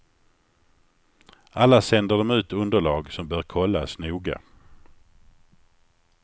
Alla sänder de ut underlag som bör kollas noga.